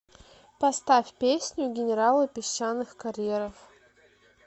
поставь песню генералы песчаных карьеров